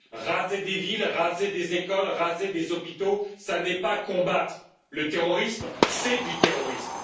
Raser des villes, raser des écoles, raser des hôpitaux, ce n'est pas combattre le terrorisme, c'est du terrorisme.